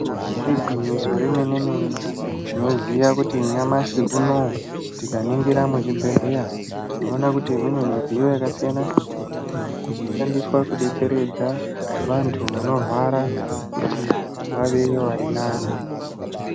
Igwinyiso remene-mene, tinoziya kuti nyamashi unowu tikaningira muzvibhedhleya, tinoona kuti kune midziyo yakasiyana-siyana inoshandiswa kudetseredza vantu vanorwara kuti vave vari nani.